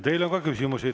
Teile on ka küsimusi.